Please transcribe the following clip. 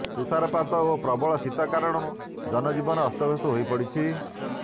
ତୁଷାର ପାତ ଓ ପ୍ରବଳ ଶୀତ କାରଣରୁ ଜନଜୀବନ ଅସ୍ତବ୍ୟସ୍ତ ହୋଇପଡ଼ିଛି